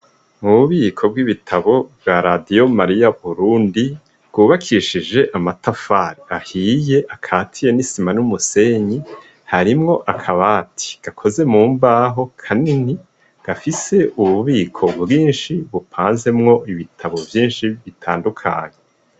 Mububiko bw'ibitabo bwa Radiyo Mariya Burundi bwubakishije amatafari ahiye akatiye n'isima n'umusenyi harimwo akabati gakoze mu mbaho kanini gafise ububiko bwinshi bupanzemwo ibitabo vyinshi bitandukanye.